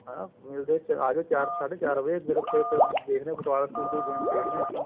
ਹਾਂ ਹਾਂ ਆਜੋ ਚਾਰ ਸਾਡੇ ਚਾਰ ਵਜੇ group ਏ ਤੇ ਦੇਖਦੇ ਆ ਕੋਈ game ਖੇਡੇ ਆ ਆਪਾਂ